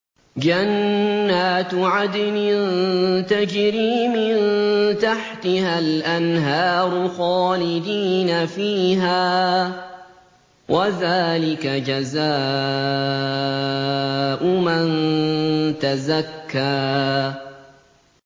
جَنَّاتُ عَدْنٍ تَجْرِي مِن تَحْتِهَا الْأَنْهَارُ خَالِدِينَ فِيهَا ۚ وَذَٰلِكَ جَزَاءُ مَن تَزَكَّىٰ